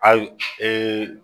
Ayi